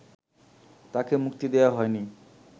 তাকে মুক্তি দেয়া হয়নি